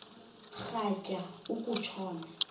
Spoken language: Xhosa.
rhatya uku tshona